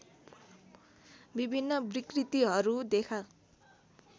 विभिन्न विकृतिहरू देखा